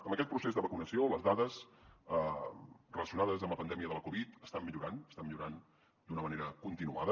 amb aquest procés de vacunació les dades relacionades amb la pandèmia de la covid estan millorant estan millorant d’una manera continuada